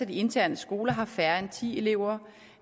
de interne skoler har færre end ti elever